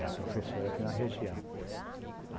Era professora aqui na região.